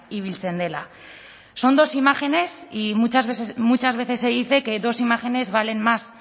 ibiltzen dela son dos imágenes y muchas veces se dice que dos imágenes valen más